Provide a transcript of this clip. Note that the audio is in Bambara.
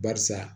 Barisa